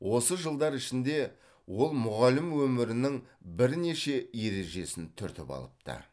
осы жылдар ішінде ол мұғалім өмірінің бірнеше ережесін түртіп алыпты